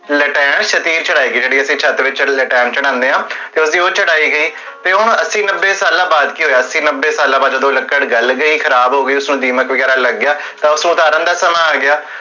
ਲੇਟਾਇਆ ਸ਼ਤੀਨ ਚੜ੍ਹਾਈ ਗਈ, ਜੇਹੜੀ ਛਤ ਵਿਚ ਲੇਟਾ ਕੇ ਚਢ਼ਾਨੇ ਆ ਤੇ ਓਹ ਅੱਸੀ ਨਬੇ ਸਾਲਾਂ ਬਾਦ ਕੀ ਹੋਇਆ ਅੱਸੀ ਨਬੇ ਸਾਲਾਂ ਬਾਦ, ਜਦੋ ਗਲ ਜੇਹੀ ਖਰਾਬ ਹੋ ਗਈ, ਉਸ ਵਿਚ ਦੀਮਕ ਵਗੇਰਾ ਲਾਗ ਗਿਆ, ਤਾ ਉਤਾਰਨ ਦਾ ਸਮਾਂ ਆ ਗਿਆ